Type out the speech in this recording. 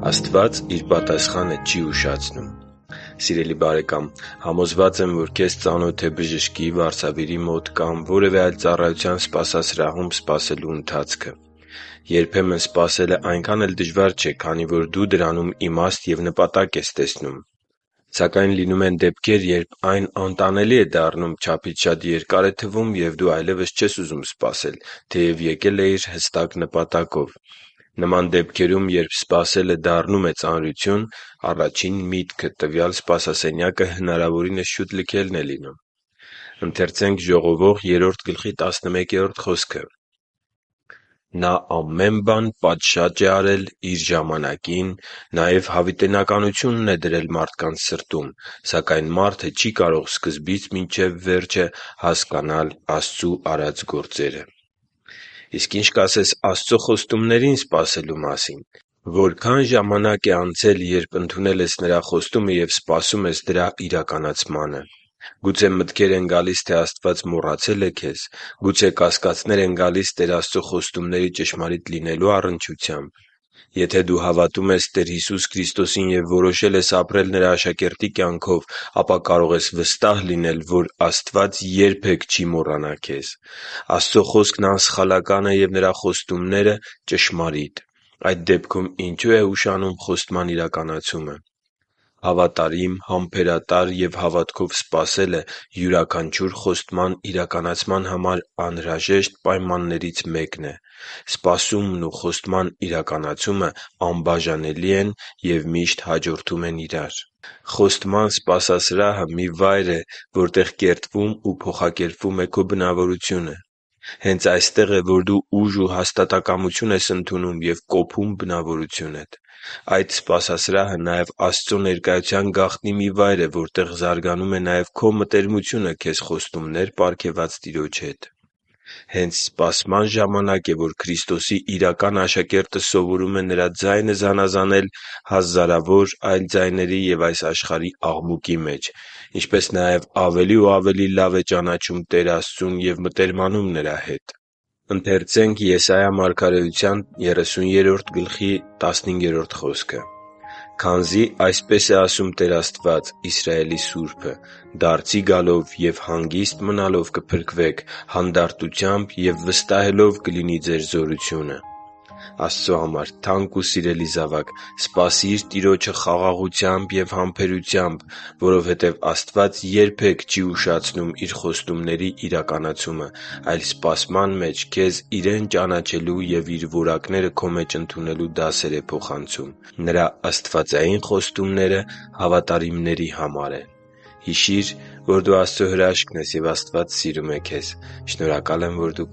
Աստված Իր պատասխանը չի ուշացնում Սիրելի՛ բարեկամ, համոզված եմ, որ քեզ ծանոթ է բժշկի, վարսավիրի մոտ կամ որևէ այլ ծառայության սպասասրահում սպասելու ընթացքը։ Երբեմն սպասելը այնքան էլ դժվար չէ, քանի որ դու դրանում իմաստ և նպատակ ես տեսնում։ Սակայն լինում են դեպքեր, երբ այն անտանելի է դառնում, չափից շատ երկար է թվում, և դու այլևս չես ուզում սպասել, թեև եկել էիր հստակ նպատակով։ Նման դեպքերում, երբ սպասելը դառնում է ծանրություն, առաջին միտքը տվյալ սպասասենյակը հնարավորինս շուտ լքելն է լինում։ «Նա ամեն բան պատշաճ է արել իր ժամանակին, նաև հավիտենականությունն է դրել մարդկանց սրտում, սակայն մարդը չի կարող սկզբից մինչև վերջը հասկանալ Աստծու արած գործերը» (Ժողովող 3․11)։ Իսկ ի՞նչ կասես Աստծո խոստումներին սպասելու մասին։ Որքա՞ն ժամանակ է անցել, երբ ընդունել ես Նրա խոստումը և սպասում ես դրա իրականացմանը․․․ Գուցե մտքեր են գալիս, թե Աստված մոռացե՞լ է քեզ: Գուցե կասկածնե՞ր են գալիս Տեր Աստծո խոստումների ճշմարիտ լինելու առնչությամբ․․․ Եթե դու հավատում ես Տեր Հիսուս Քրիստոսին և որոշել ես ապրել Նրա աշակերտի կյանքով, ապա կարող ես վստահ լինել, որ Աստված երբե՛ք չի մոռանա քեզ։ Աստծո Խոսքն անսխալական է և Նրա խոստումները՝ ճշմարիտ։ Այդ դեպքում ինչո՞ւ է ուշանում խոստման իրականացումը։ Հավատարիմ, համբերատար և հավատքով սպասելը յուրաքանչյուր խոստման իրականացման համար անհրաժեշտ պայմաններից մեկն է։ Սպասումն ու խոստման իրականացումը անբաժանելի են ու միշտ հաջորդում են իրար։ Խոստման սպասասրահը մի վայր է, որտեղ կերտվում ու փոխակերպվում է քո բնավորությունը։ Հենց այստեղ է, որ դու ուժ ու հաստատակամություն ես ընդունում և կոփում ես բնավորությունդ։ Այդ սպասասրահը նաև Աստծո ներկայության գաղտնի մի վայր է, որտեղ զարգանում է նաև քո մտերմությումը քեզ խոստումներ պարգևած Տիրոջ հետ։ Հենց սպասման ժամանակ է, որ Քրիստոսի իրական աշակերտը սովորում է Նրա ձայնը զանազանել հազարավոր այլ ձայների և այս աշխարհի աղմուկի մեջ, ինչպես նաև ավելի ու ավելի լավ է ճանաչում Տեր Աստծուն ու մտերմանում Նրա հետ։ «․․․քանզի այսպես է ասում Տեր Աստված՝ Իսրայելի Սուրբը. «Դարձի գալով և հանգիստ մնալով կփրկվեք, հանդարտությամբ և վստահելով կլինի ձեր զորությունը…» (Եսայիա 30:15)։ Աստծո համար թանկ ու սիրելի՛ զավակ, սպասի՛ր Տիրոջը խաղաղությամբ և համբերությամբ, որովհետեւ Աստված երբե՛ք չի ուշացնում Իր խոստումների իրականացումը, այլ սպասման մեջ քեզ Իրեն ճանաչելու և Իր որակները քո մեջ ընդունելու դասեր է փոխանցում։ Նրա աստվածային խոստումները հավատարիմների համար են։ Հիշի՛ր, որ դու Աստծո հրաշքն ես, և Աստված սիրում է քեզ։ Շնորհակալ եմ, որ դու